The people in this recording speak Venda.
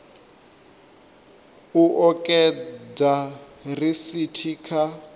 u o ekedza risithi kha